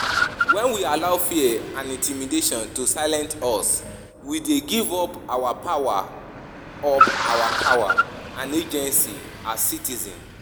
When we allow fear and intimidation to silence us, we dey give up our power up our power and agency as citizens.